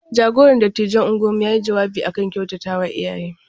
Jagoran dattijan unguwarmu ya yi jawabi a kan kyautatawa iyaye.